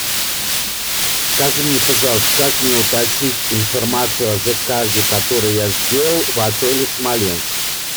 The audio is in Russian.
скажи мне пожалуйста как мне уточнить информацию о заказе который я сделал в отеле смоленск